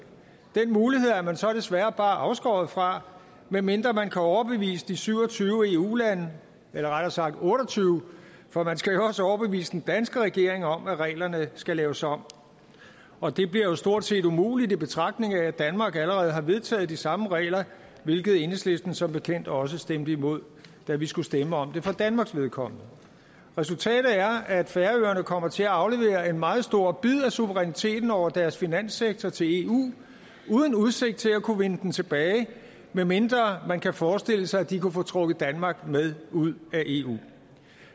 den mulighed er man så desværre bare afskåret fra medmindre man kan overbevise de syv og tyve eu lande eller rettere sagt otte og tyve for man skal jo også overbevise den danske regering om at reglerne skal laves om og det bliver jo stort set umuligt i betragtning af at danmark allerede har vedtaget de samme regler hvilket enhedslisten som bekendt også stemte imod da vi skulle stemme om det for danmarks vedkommende resultatet er at færøerne kommer til at aflevere en meget stor bid af suveræniteten over deres finanssektor til eu uden udsigt til at kunne vinde den tilbage medmindre man kan forestille sig at de kunne få trukket danmark med ud af eu